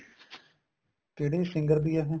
ਕਿਹੜੀ singer ਦੀ ਏ ਇਹ